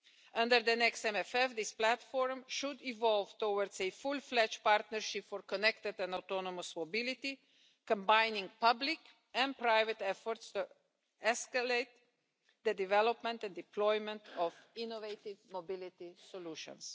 Under the next MFF, this platform should evolve towards a fully-fledged partnership for connected and autonomous mobility, combining public and private efforts to escalate the development and deployment of innovative mobility solutions.